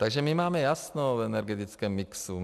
Takže my máme jasno v energetickém mixu.